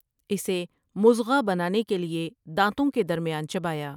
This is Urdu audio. اسے مضغہ بنانے کے لیے دانتوں کے درمیان چبایا ۔